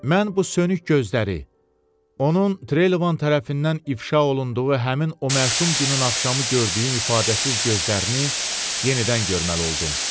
Mən bu sönük gözləri, onun Treyloman tərəfindən ifşa olunduğu həmin o məşum günün axşamı gördüyüm ifadəsiz gözlərini yenidən görməli oldum.